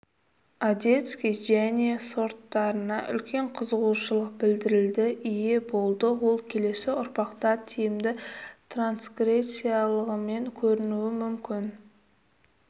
одесский және сорттарына үлкен қызығушылық білдірілді ие болды ол келесі ұрпақта тиімді трансгрессиялығымен көрінуі мүмкін